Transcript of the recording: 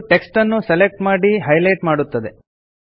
ಇದು ಟೆಕ್ಸ್ಟ್ ನ್ನು ಸೆಲೆಕ್ಟ್ ಮಾಡಿ ಹೈಲೈಟ್ ಮಾಡುತ್ತದೆ